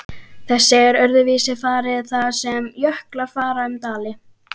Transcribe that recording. Þessu er öðruvísi farið þar sem jöklar fara um dali.